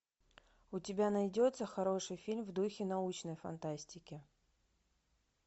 у тебя найдется хороший фильм в духе научной фантастики